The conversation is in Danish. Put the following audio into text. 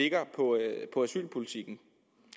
asylpolitikken